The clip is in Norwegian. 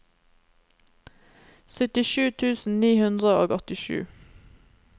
syttisju tusen ni hundre og åttisju